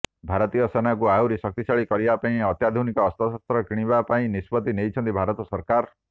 ଭାରତୀୟ ସେନାକୁ ଆହୁରି ଶକ୍ତିଶାଳୀ କରିବା ପାଇଁ ଅତ୍ୟାଧୁନିକ ଅସ୍ତ୍ରଶସ୍ତ୍ର କିଣିବା ପାଇଁ ନିଷ୍ପତି ନେଇଛନ୍ତି ଭାରତ ସରକାର